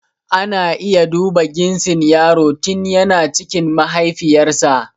Ana iya duba ginsin yaro tin yana cikin mahaifiyar sa